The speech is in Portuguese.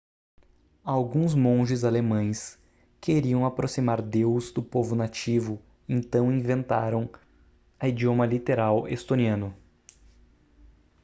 alguns monges alemães queriam aproximar deus do povo nativo então inventaram a idioma literal estoniano